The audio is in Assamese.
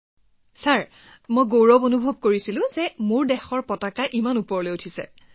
প্ৰগতিঃ ছাৰ মোৰ বৰ গৌৰৱ অনুভৱ হৈছিল ইমান ভাল লাগিছিল যে মই মোৰ দেশৰ পতাকাখন ইমান উচ্চ স্থান তুলি ধৰিলো